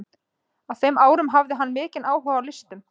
Á þeim árum hafði hann mikinn áhuga á listum.